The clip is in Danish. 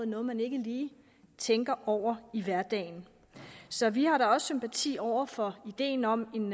noget man ikke lige tænker over i hverdagen så vi har da også sympati over for ideen om en